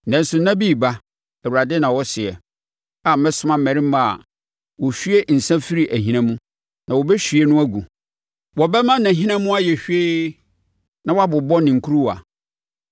Nanso, nna bi reba,” Awurade na ɔseɛ, “a mɛsoma mmarima a wɔhwie nsã firi ahina mu, na wɔbɛhwie no agu; wɔbɛma nʼahina mu ayɛ hwee na wɔabobɔ ne nkuruwa.